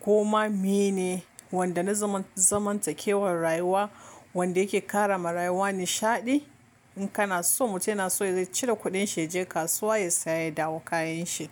ko ma meye ne wanda na zamantakewar rayuwa wanda yake kara marayuwa nishaɗi. In kana so mutum yana so yazo ya cire kuɗin shi yaje kasuwa ya saya ya dawo kayan shi.